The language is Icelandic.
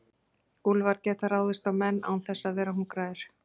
Úlfar geta ráðist á menn án þess að vera hungraðir.